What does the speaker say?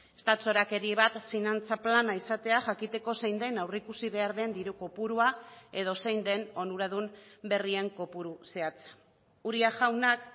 ez da txorakeri bat finantza plana izatea jakiteko zein den aurreikusi behar den diru kopurua edo zein den onuradun berrien kopuru zehatza uria jaunak